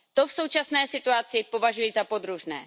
To v současné situaci považuji za podružné.